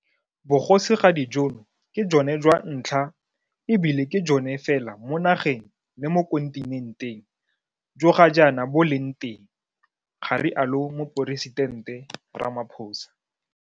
Bogosigadi jono ke jone jwa ntlha e bile ke jone fela mo nageng le mo kontinenteng jo ga jaana bo leng teng, ga rialo Moporesitente Ramaphosa.